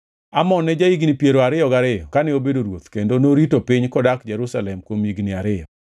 Amon ne ja-higni piero ariyo gariyo kane obedo ruoth kendo norito piny kodak Jerusalem kuom higni ariyo.